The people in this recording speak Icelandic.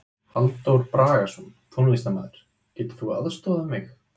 Halldór Bragason, tónlistarmaður: Getur þú aðstoðað mig?